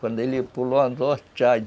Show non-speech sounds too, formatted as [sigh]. Quando ele pulou o anzol, [unintelligible]